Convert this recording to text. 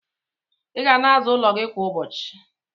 Iga na aza ụlọ gi kwa ụbọchi